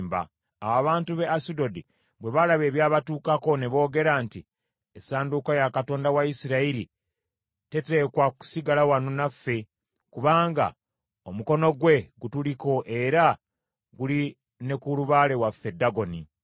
Awo abantu b’e Asudodi bwe baalaba ebyabatuukako ne boogera nti, “Essanduuko ya Katonda wa Isirayiri teteekwa kusigala wano naffe, kubanga omukono gwe gutuliko era guli ne ku lubaale waffe Dagoni.”